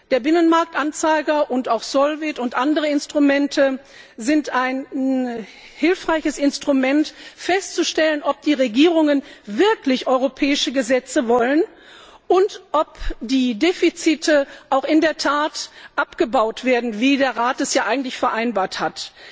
Der Binnenmarktanzeiger und auch Solvit und andere Instrumente sind hilfreich, um festzustellen, ob die Regierungen wirklich europäische Gesetze wollen und ob die Defizite auch in der Tat abgebaut werden, wie der Rat es ja eigentlich vereinbart hat.